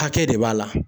Hakɛ de b'a la